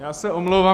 Já se omlouvám.